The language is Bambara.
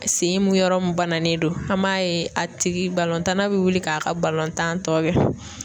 Sen mun yɔrɔ min bananen don an b'a ye a tigi tanna bɛ wuli k'a ka tan tɔ kɛ.